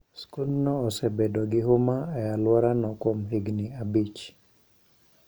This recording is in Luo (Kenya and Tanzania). Skundno osebedo gi huma e alworano kuom higini abich.